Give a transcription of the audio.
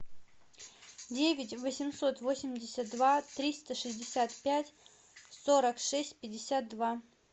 девять восемьсот восемьдесят два триста шестьдесят пять сорок шесть пятьдесят два